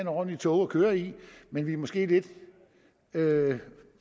ordentlige tog at køre i men vi er måske lidt